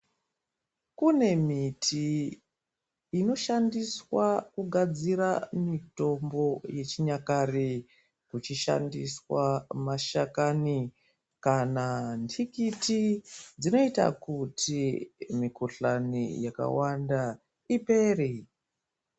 Kune miti inoshandiswa kugadzira mitombo yechinyakare kuchishandiswa mashakani, kana ndikiti, dzinoita kuti mikuhlani yakawanda ipere.